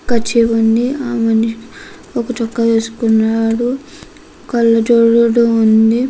Kerchief ఉంది ఆ మనిషి ఒక చొక్కా వేసుకున్నాడు కళ్ళజోడు ఉంది.